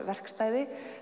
verkstæði